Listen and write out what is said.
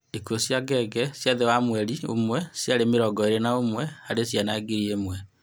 Ikuũ cia ngenge cia thi wa mweri ũmwe cĩarĩ mĩrongo ĩĩrĩ na ũmwe harĩ ciana ngĩrĩ ĩmwe